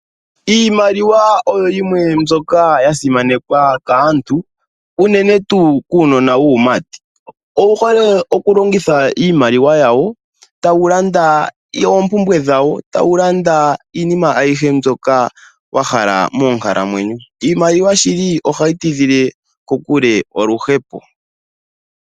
Iimaliwa oyo yimwe mbyoka ya simanekwa kaantu unene tuu kuunona wuumati, owu hole okulongitha iimaliwa yawo ta wu landa oompumbwe dhawo, ta wu landa iinima ayihe mboka wa hala moonkalamweyo. Iimaliwa shili ohayi tidhile kokule oluhepo.